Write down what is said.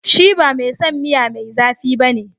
Shi ba mai son miya mai zafi ba ne.